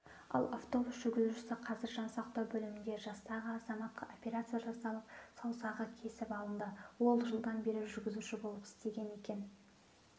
ал автобус жүргізушісі қазір жансақтау бөлімінде жастағы азаматқа операция жасалып саусағы кесіп алынды ол жылдан бері жүргізуші болып істеген екен